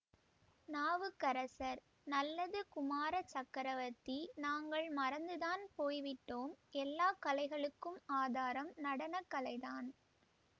நாவுக்கரசர் நல்லது குமார சக்கரவர்த்தி நாங்கள் மறந்து தான் போய்விட்டோம் எல்லா கலைகளுக்கும் ஆதாரம் நடனக்கலைதான்